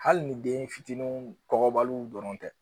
Hali ni den fitininw kɔgɔbaliw dɔrɔn tɛ